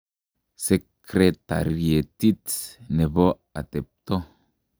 Sekretarietit ne bo atebto.